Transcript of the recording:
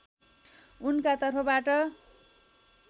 उनका तर्फबाट